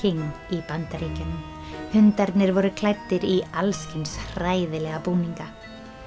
í Bandaríkjunum hundarnir voru klæddir í alls kyns hræðilega búninga